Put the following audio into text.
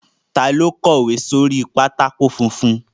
Ta ló kọ̀wé sí orí pátákó funfun?